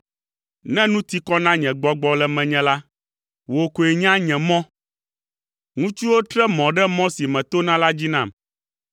Ne nu ti kɔ na nye gbɔgbɔ le menye la, wò koe nya nye mɔ. Ŋutsuwo tre mɔ ɖe mɔ si metona la dzi nam.